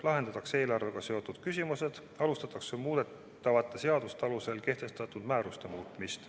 Lahendatakse ka eelarvega seotud küsimused, alustatakse muudetavate seaduste alusel kehtestatud määruste muutmist.